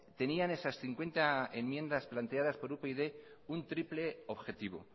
tenían esas cincuenta enmiendas planteadas por upyd un triple objetivo